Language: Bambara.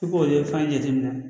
I b'o ye fan jateminɛ